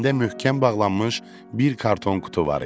Əlində möhkəm bağlanmış bir karton qutu var idi.